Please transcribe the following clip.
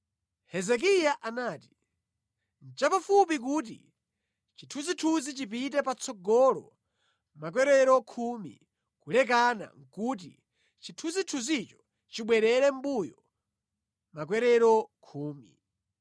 Hezekiya anati, “Nʼchapafupi kuti chithunzithunzi chipite patsogolo makwerero khumi, kulekana nʼkuti chithunzithunzicho chibwerere mʼmbuyo makwerero khumi.”